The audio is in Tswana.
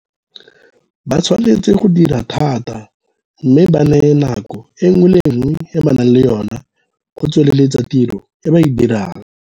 Ba tshwanetse go dira thata mme ba neye nako e nngwe le e nngwe e ba nang le yona go tsweleletsa tiro e ba e dirang.